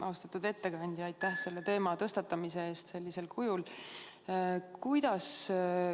Austatud ettekandja, aitäh selle teema tõstatamise eest sellisel kujul!